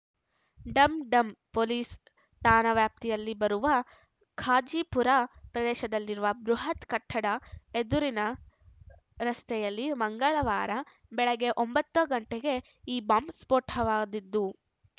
Dum Dum police ಠಾಣಾ ವ್ಯಾಪ್ತಿಯಲ್ಲಿ ಬರುವ ಕಾಝಿಪುರ ಪ್ರದೇಶದಲ್ಲಿರುವ ಬೃಹತ್‌ ಕಟ್ಟಡದ ಎದುರಿನ ರಸ್ತೆಯಲ್ಲಿ ಮಂಗಳವಾರ ಬೆಳಗ್ಗೆ ಒಂಬತ್ತ ಗಂಟೆಗೆ ಈ ಬಾಂಬ್‌ ಸ್ಫೋಟವಾಗಿದ್ದು